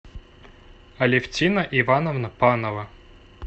алевтина ивановна панова